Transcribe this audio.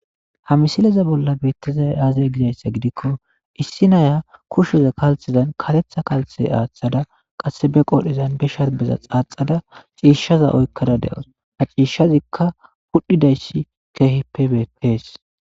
Ha misileza bolla beettizay aazE gizayssa gidikko issi naya kushsheza kalthezan karetha kalthe aaththada qasse be qodhezan be sharbeza xaaxxada ciishaza oykkada de'aws. Ha ciishshazikka pudhidaysi keehippe beettees.